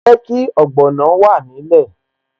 Jẹ́ kí ogbono wà nílẹ̀